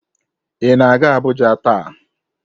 Ị na-aga Abuja taa?